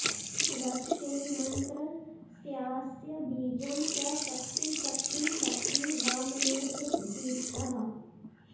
रक्षे मन्त्रस्यास्य बीजं च शक्ति चक्री शक्री वामनेत्रदीप्तः